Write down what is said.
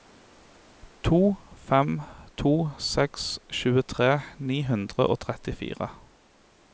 to fem to seks tjuetre ni hundre og trettifire